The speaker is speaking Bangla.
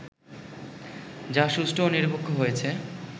যা সুষ্ঠু ও নিরপেক্ষ হয়েছে